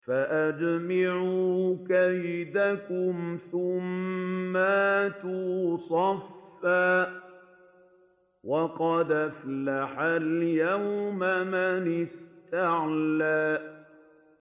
فَأَجْمِعُوا كَيْدَكُمْ ثُمَّ ائْتُوا صَفًّا ۚ وَقَدْ أَفْلَحَ الْيَوْمَ مَنِ اسْتَعْلَىٰ